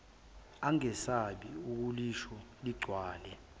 angesabi ukulisho ligcwale